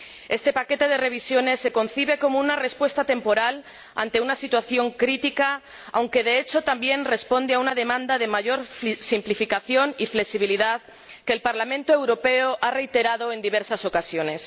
Este paquete de revisiones se concibe como una respuesta temporal ante una situación crítica, aunque de hecho también responde a una demanda de mayor simplificación y flexibilidad que el Parlamento Europeo ha reiterado en diversas ocasiones.